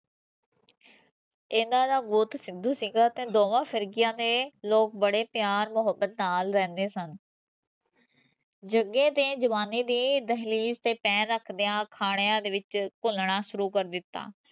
ਇਨ੍ਹਾਂ ਦਾ ਬਹੁਤ ਸਿੰਦੂ ਸੀਗਾ ਤੇ ਦੋਵਾਂ ਫਿਰਗੀਆਂ ਨੇ ਲੋਕ ਬੜੇ ਪਿਆਰ ਮੋਹੱਬਤ ਨਾਲ ਰਹਿੰਦੇ ਸਨ ਜਗੇ ਤੇ ਜਵਾਨੀ ਦੀ ਦਹਲੀਜ਼ ਤੇ ਪੈਰ ਰੱਖਦਿਆਂ ਥਾਣਿਆਂ ਦੇ ਵਿੱਚ ਘੁਲਣਾ ਸ਼ੁਰੂ ਕਰ ਦਿਤਾ